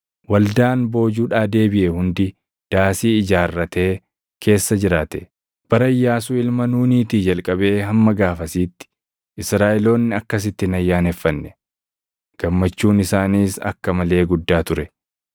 Waldaan boojuudhaa deebiʼe hundi daasii ijaarratee keessa jiraate. Bara Iyyaasuu ilma Nuuniitii jalqabee hamma gaafasitti Israaʼeloonni akkasitti hin ayyaaneffanne. Gammachuun isaaniis akka malee guddaa ture.